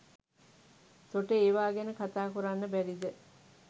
තොට ඒවා ගැන කතා කොරන්න බැරිද